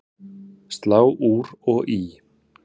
Slá úr og í